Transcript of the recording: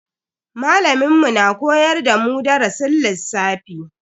Malamin mu na koyar da mu darasin lissafi.